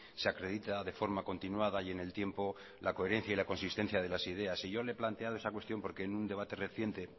se acredita de forma continuada y en el tiempo la coherencia y la consistencias de las ideas y yo le he planteado esa cuestión porque en un debate reciente